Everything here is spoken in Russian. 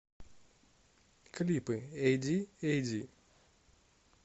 клипы эди э д и